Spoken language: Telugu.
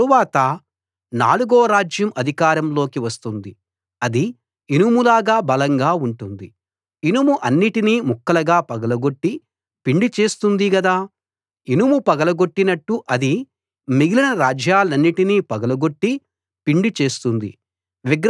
ఆ తరువాత నాలుగో రాజ్యం అధికారంలోకి వస్తుంది అది ఇనుములాగా బలంగా ఉంటుంది ఇనుము అన్నిటినీ ముక్కలుగా పగలగొట్టి పిండి చేస్తుంది గదా ఇనుము పగలగొట్టినట్టు అది మిగిలిన రాజ్యాలన్నిటినీ పగలగొట్టి పిండి చేస్తుంది